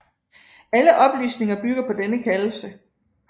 Alle oplysninger bygger på denne kaldelse